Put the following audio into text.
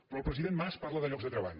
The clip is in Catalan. però el president mas parla de llocs de treball